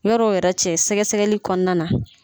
Yɔrɔ yɛrɛ cɛ sɛgɛ sɛgɛli kɔnɔna na.